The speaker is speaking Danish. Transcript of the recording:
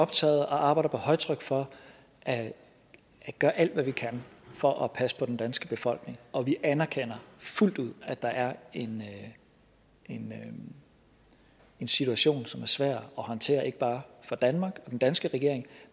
optaget af og arbejder på højtryk for at gøre alt hvad vi kan for at passe på den danske befolkning og vi anerkender fuldt ud at der er en en situation som er svær at håndtere ikke bare for danmark og den danske regering